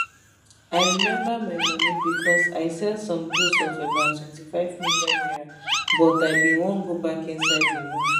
i remember my money becos i sell some goods of about 25 million naira but i bin wan go back inside di room